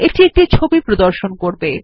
এটি একটি ছবি প্রদর্শন করবে